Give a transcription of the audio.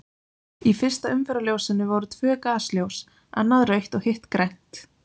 Í fyrsta umferðarljósinu voru tvö gasljós, annað rautt og hitt grænt.